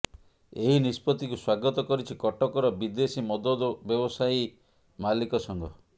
ଏହି ନିଷ୍ପତ୍ତିକୁ ସ୍ୱାଗତ କରିଛି କଟକର ବିଦେଶୀ ମଦ ବ୍ୟବସାୟୀ ମାଲିକ ସଂଘ